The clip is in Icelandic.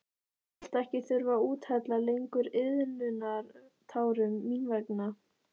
Þú skalt ekki þurfa að úthella lengur iðrunartárum mín vegna.